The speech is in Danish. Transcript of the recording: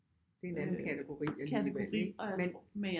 Det er en anden kategori alligevel ikke men